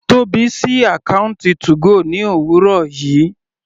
Tóbi sí àkọ́ùntì 2go ní òwúrọ̀ yìí.